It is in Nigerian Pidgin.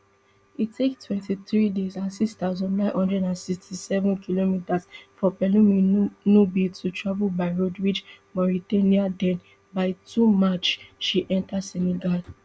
e take twenty-three days and six thousand, nine hundred and sixty-seven kilometres for pelumi nubi to travel by road reach mauritania den by two march she enta senegal